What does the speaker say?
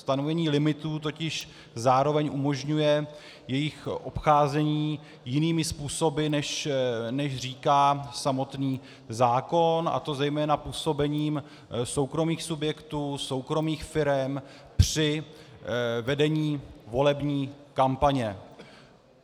Stanovení limitů totiž zároveň umožňuje jejich obcházení jinými způsoby, než říká samotný zákon, a to zejména působením soukromých subjektů, soukromých firem při vedení volební kampaně.